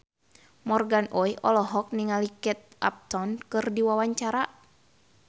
Morgan Oey olohok ningali Kate Upton keur diwawancara